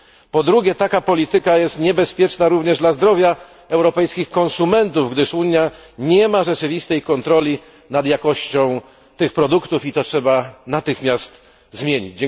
Po drugie, taka polityka jest niebezpieczna również dla zdrowia europejskich konsumentów, gdyż Unia nie ma rzeczywistej kontroli nad jakością tych produktów i to trzeba natychmiast zmienić.